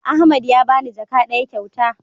Ahmad ya bani jaka ɗaya kyauta